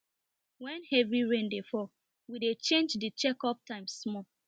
when heavy rain dey fall we dey change the check up time small